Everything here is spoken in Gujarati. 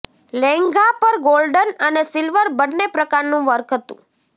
લહેંગા પર ગોલ્ડન અને સિલ્વર બંને પ્રકારનું વર્ક હતું